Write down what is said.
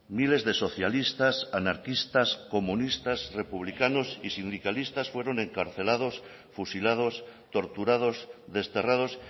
miles de socialistas anarquistas comunistas republicanos y sindicalistas fueron encarcelados fusilados torturados desterrados